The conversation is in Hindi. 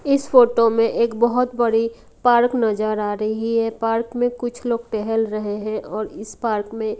इस फोटो में एक बहुत बड़ी पार्क नजर आ रही है पार्क में कुछ लोग टहल रहे हैं और इस पार्क में--